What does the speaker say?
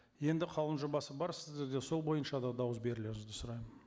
енді қаулының жобасы бар сіздерде сол бойынша да дауыс берулеріңізді сұраймын